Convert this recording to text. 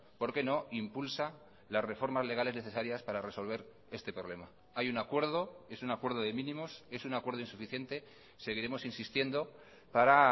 porque no impulsa las reformas legales necesarias para resolver este problema hay un acuerdo es un acuerdo de mínimos es un acuerdo insuficiente seguiremos insistiendo para